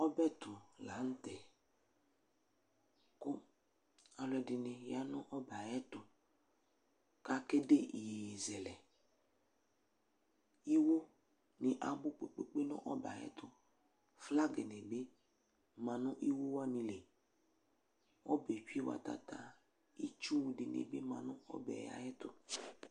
ɔbɛtʊ la nʊtɛ, kʊ aluɛdɩnɩ ya nʊ ɔbɛ yɛ tʊ, kʊ akazɛ iyeye lɛ, iwunɩ abʊ nʊ ɔbɛ yɛ tʊ kʊ flag nɩ bɩ ma nʊ iwuwanɩ li, ɔbɛ yɛ tsue watata, , itsu dɩnɩ bɩ ma nʊ ɔbɛ yɛ tʊ